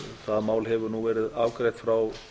það mál hefur nú verið afgreitt frá